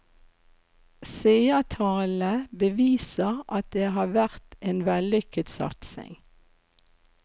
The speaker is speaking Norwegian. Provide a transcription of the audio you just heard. Seertallene beviser at det har vært en vellykket satsing.